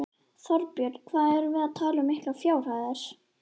Þorbjörn: Hvað erum við að tala um miklar fjárhæðir?